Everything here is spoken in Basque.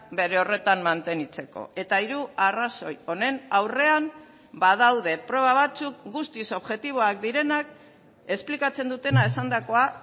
bere horretan mantenitzeko eta hiru arrazoi honen aurrean badaude proba batzuk guztiz objektiboak direnak esplikatzen dutena esandakoa